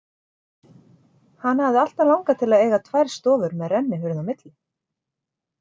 Hana hafði alltaf langað til að eiga tvær stofur með rennihurð á milli.